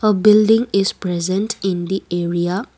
a building is present in the area.